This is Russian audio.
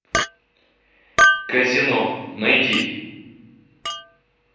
казино найди